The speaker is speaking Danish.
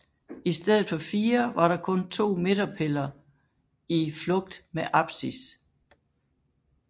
I stedet for fire var der kun to midterpiller i flugt med apsis